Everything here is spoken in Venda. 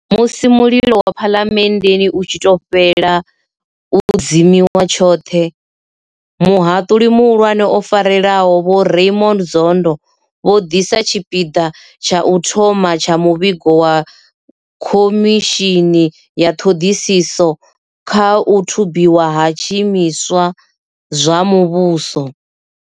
Musi mulilo wa phalamenndeni u tshi tou fhela u dzimiwa tshoṱhe, muhaṱuli muhulwane o farelaho vho Raymond Zondo vho ḓisa tshipiḓa tsha u thoma tsha muvhigo wa khomishini ya ṱhoḓisiso kha u thubiwa ha zwiimiswa zwa muvhuso.